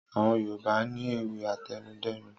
Àwọn Yorùbá ni ewì àtẹnudẹ́nu.